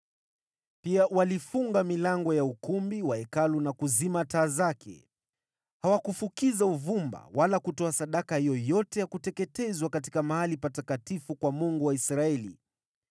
Pia walifunga milango ya ukumbi wa Hekalu na kuzima taa zake. Hawakufukiza uvumba wala kutoa sadaka yoyote ya kuteketezwa katika mahali patakatifu kwa Mungu wa Israeli.